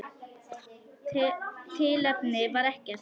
Tilefni var ekkert.